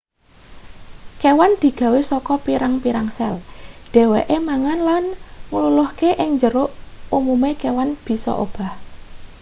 kewan digawe saka pirang-pirang sel dheweke mangan lan ngluluhake ing njero umume kewan bisa obah